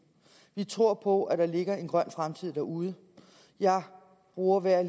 vi tror på at der ligger en grøn fremtid derude jeg bruger hver